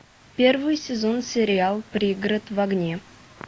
первый сезон сериал пригород в огне